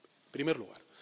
primer lugar